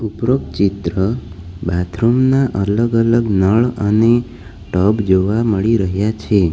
ઉપરોક્ત ચિત્ર બાથરૂમ ના અલગ અલગ નળ અને ટબ જોવા મળી રહ્યા છે.